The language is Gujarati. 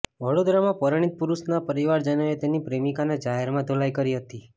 વડોદરામાં પરિણીત પુરુષના પરિવારજનોએ તેની પ્રેમિકાની જાહેરમાં ધોલાઈ કરી હતી